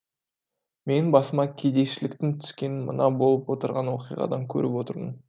менің басыма кедейшіліктің түскенін мына болып отырған оқиғадан көріп отырмын